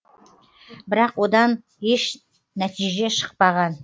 бірақ одан еш нәтиже шықпаған